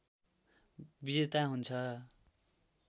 विजेता हुन्छ